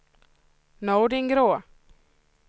Nordingrå